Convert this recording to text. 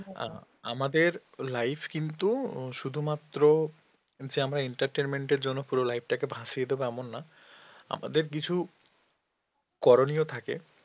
আ~ আমাদের life কিন্তু শুধুমাত্র যে আমরা entertainment এর জন্য পুরো life টাকে ভাসিয়ে দেবে এমন নয় আমাদের কিছু করণীয় থাকে